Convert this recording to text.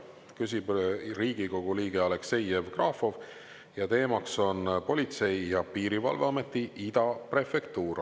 Küsib Riigikogu liige Aleksei Jevgrafov ja teemaks on Politsei- ja Piirivalveameti Ida Prefektuur.